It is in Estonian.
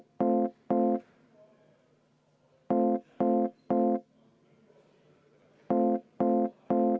Võtame kümme minutit vaheaega.